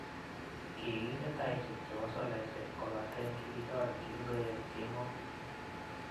Kiginde taishek chepo solaishek kopaten kigichoor kinkoyeek kemoo